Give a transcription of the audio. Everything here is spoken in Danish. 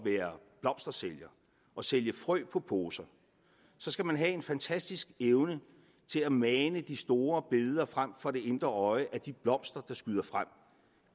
være blomstersælger at sælge frø i poser så skal man have en fantastisk evne til at mane de store billeder frem for det indre øje af de blomster der skyder frem